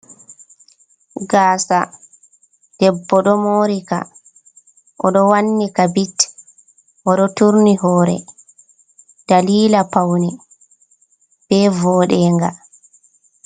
Gasa, debbo ɗo morika o ɗo wannika bit, o ɗo turni hore dalila paune be voɗenga.